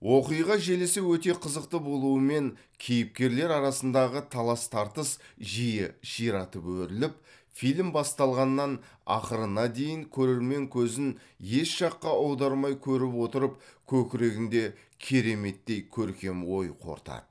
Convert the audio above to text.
оқиға желісі өте қызықты болуымен кейіпкерлер арасындағы талас тартыс жиі ширатып өріліп фильм басталғаннан ақырына дейін көрермен көзін еш жаққа аудармай көріп отырып көкірегінде кереметтей көркем ой қорытады